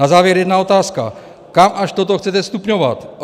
Na závěr jedna otázka: Kam až toto chcete stupňovat?